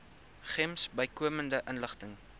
gems bykomende inligting